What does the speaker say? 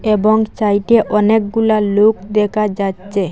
এবং সাইটে অনেকগুলা লোক দেখা যাচ্ছে।